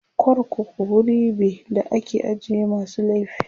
korkuku wuri be da ake ajiye masu laifi